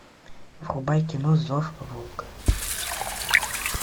врубай кино зов волка